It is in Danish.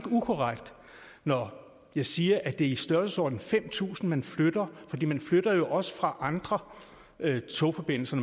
ukorrekt når jeg siger at det er i størrelsesordenen fem tusind passagerer man flytter fordi man flytter jo også fra andre togforbindelser